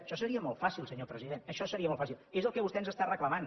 això seria molt fàcil senyor president això seria molt fàcil és el que vostè ens està reclamant